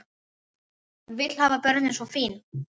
Vill hafa börnin svo fín.